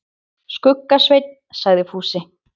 Skugga-Svein, sagði Fúsi.